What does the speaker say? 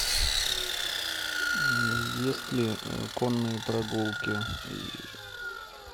есть ли конные прогулки и